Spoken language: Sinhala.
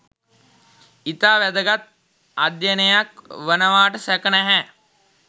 ඉතා වැදගත් අධ්‍යනයක් වනවාට සැක නැහැ.